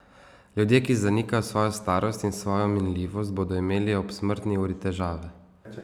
Ljudje, ki zanikajo svojo starost in svojo minljivost, bodo imeli ob smrtni uri težave.